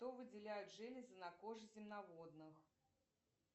что выделяют железы на коже земноводных